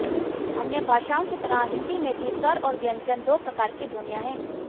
अन्य भाषाओं की तरह हिन्दी में भी स्वर और व्यंजन दो प्रकार की ध्वनियाँ हैं